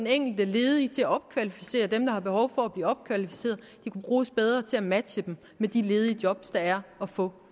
enkelte ledige til at opkvalificere dem der har behov for at blive opkvalificeret de kunne bruges bedre til at matche dem med de ledige job der er at få